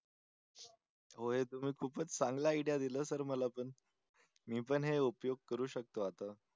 होय तुम्ही खूपच चांगला आयडिया दिलं सर मला पण. मी पण हे उपयोग करू शकतो आता.